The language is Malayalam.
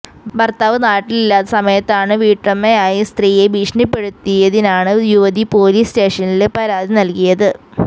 ഭര്ത്താവ് നാട്ടിലില്ലാത്ത സമയത്താണ് വീട്ടുടമയായ സ്ത്രീയെ ഭീഷണിപ്പെടുത്തിയതിനാണ് യുവതി പോലീസ് സ്റ്റേഷനില് പരാതി നല്കിയത്